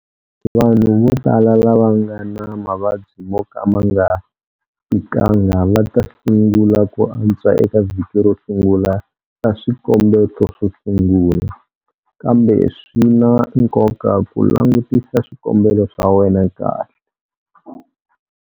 Vanhu vo tala lava va nga na mavabyi mo ka ma nga tikanga va ta sungula ku antswa eka vhiki ro sungula ra swikombeto swo sungula, kambe swi na nkoka ku langutisa swikombelo swa wena kahle.